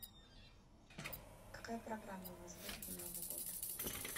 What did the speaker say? какая программа у вас будет на новый год